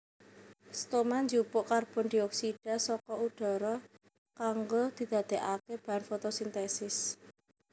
Stoma njupuk karbondioksida saka udhara kanggo didadèkaké bahan fotosintesis